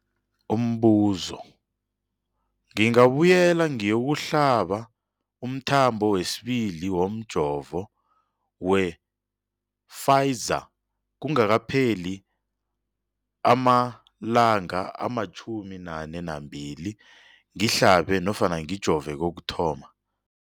Umbuzo, ngingabuyela ngiyokuhlaba umthamo wesibili womjovo we-Pfizer kungakapheli ama-42 wamalanga ngihlabe nofana ngijove kokuthoma.